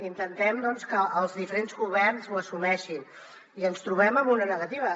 intentem que els diferents governs ho assumeixin i ens trobem amb una negativa